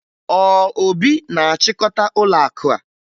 Ọ Obi na-achịkọta ụlọakụ a?